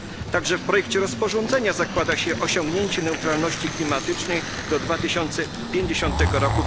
Także w projekcie rozporządzenia zakłada się osiągnięcie neutralności klimatycznej do 2050 r.